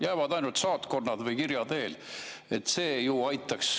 Jäävad ainult saatkonnad ja kirja teel.